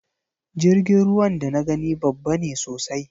Jirgin ruwan da na gani babba ne sosai